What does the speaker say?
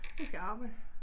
Jeg skal arbejde